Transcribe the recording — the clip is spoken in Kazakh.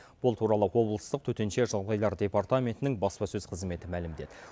бұл туралы облыстық төтенше жағдайлар департаментінің баспасөз қызметі мәлімдеді